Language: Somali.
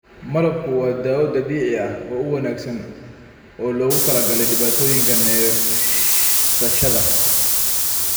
Malabku waa dawo dabiici ah oo wanaagsan oo loogu talagalay dhibaatooyinka neefsashada.